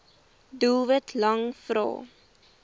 doelwit lang vrae